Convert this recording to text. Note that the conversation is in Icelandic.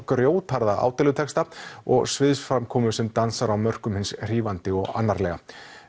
grjótharða og sviðsframkomu sem dansar á mörkum hins hrífandi og annarlega